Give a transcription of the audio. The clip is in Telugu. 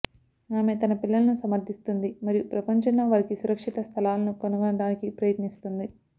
ఆమె తన పిల్లలను సమర్థిస్తుంది మరియు ప్రపంచంలో వారికి సురక్షిత స్థలాలను కనుగొనడానికి ప్రయత్నిస్తుంది